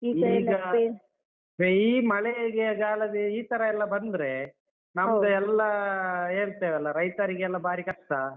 ಮಳೆಗೆ ಗಾಲಗೆ ಈ ತರ ಎಲ್ಲ ಬಂದ್ರೆ. ನಮ್ದೇಲ್ಲ ಹೇಳ್ತೇವಲ್ಲ, ರೈತರಿಗೆಲ್ಲ ಬಾರಿ ಕಷ್ಟ.